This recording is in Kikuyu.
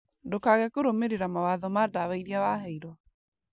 Ndũkage kũrũmĩrĩra mawatho ma ndawa irĩa waheirwo